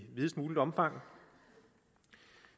videst mulig omfang